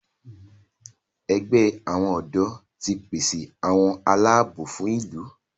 ègbé àwọn odò tí pèsè àwọn Àlàabò fún ìlú.